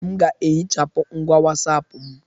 M ga-ehichapụ ngwa WhatsApp m